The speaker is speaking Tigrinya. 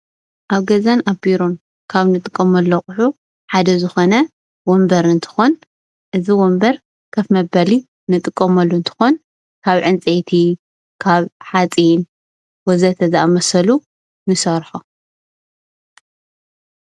ኣብ ገዛን ኣብ ቢሮን ካብ እንጥቀመሎም ኣቁሑ ሓደ ዝኮነ ወንበር እንትኮን እዚ ወንበር ኮፍ መበሊ እንጥቀመሉ እትንኮን ካብ ዕንፀይቲ ካብ ሓፂን ወ.ዘ.ተ...ዝኣመሰሉ ንሰርሖ።